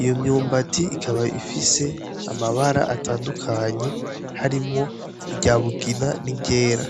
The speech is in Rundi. iyo myumbati ikaba ifise amabara atandukanye, harimwo irya mugina ,n'iryera.